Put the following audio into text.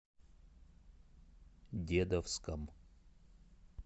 дедовском